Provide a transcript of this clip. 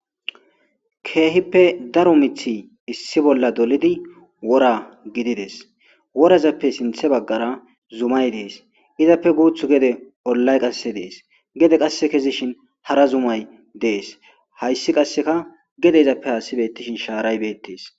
keehippe daro mithi issi bolla dolidi wora gidides worazappe sinthe baggara zumay dees izappe guuth gede ollay qasse dees gede qasse kezishin hara zumay dees hayssi qasseka gedeyzappe haasi bettishin shaaray beettes